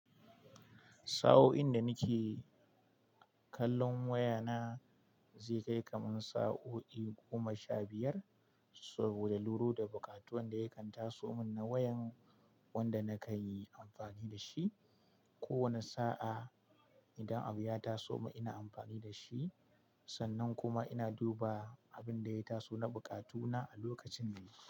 Sa'o'in da nake kallon wayana zai kai kamar sa'o'i goma sha biyar saboda luru da buƙatuwan da ya kan taso mun na wayan wanda na kan yi amfani da shi. Ko wane sa'a idan abu ya taso min ina amfani da shi, sannan kuma ina duba abin da ya taso na buƙatuna a lokacin da yake.